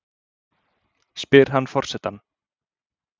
spyr hann forsetann.